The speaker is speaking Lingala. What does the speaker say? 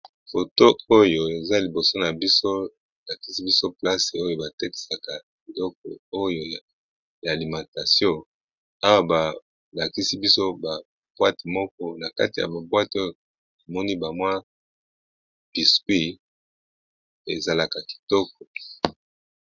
Foto oyo eza liboso na biso balakisi biso place oyo batekisaka doko oyo ya alimentation awa balakisi biso bapoate moko na kati ya bapwite oyo emoni bamwa biskuit ezalaka kitoko.